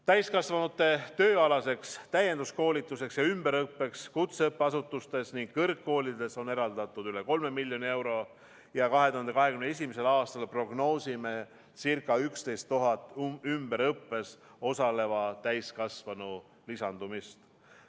Täiskasvanute tööalaseks täienduskoolituseks ja ümberõppeks kutseõppeasutustes ning kõrgkoolides on eraldatud üle 3 miljoni euro ja 2021. aastal prognoosime ca 11 000 ümberõppes osaleva täiskasvanu lisandumist.